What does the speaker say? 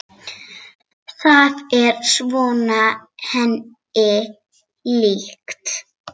Það er svona henni líkt.